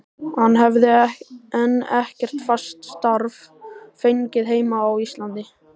Hann hefði enn ekkert fast starf fengið heima á Íslandi.